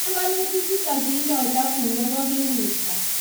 Panganutik chutok kiindoita bunge kokikiwirta